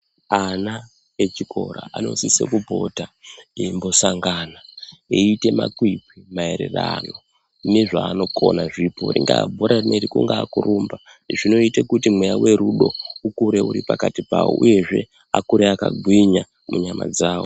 Ana echikora anosise kupota eimbosangana eiite makwikwi maererano nezvaanokona zvipo ringaa bhora rinori, kungaa kurumba. Zvinoite kuti mweya werudo ukure uri pakati pawo uyezve akure akagwinya munyama dzawo.